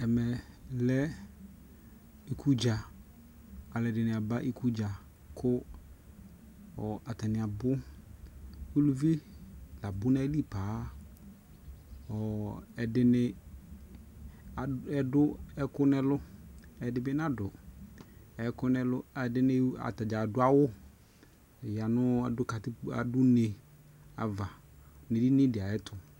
Ɛmɛ lɛ iku dzaAlu ɛdini aba iku dza ku atani abuUluvi la bu na yi li paaƆɔ ɛdini adu ɛku nɛ luƐdi bi na du ɛku nɛ luƐdini atadza adu awu ya nuu adu katikpo adu ne ava nu lili di ayɛ tu